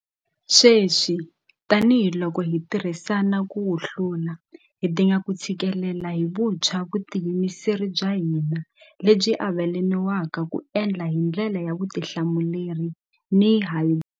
Sweswi tanihiloko hi tirhisana ku wu hlula, hi dinga ku tshikelela hi vuntshwa vutiyimiseri bya hina lebyi avelaniwaka ku endla hi ndlela ya vutihlamuleri ni hi.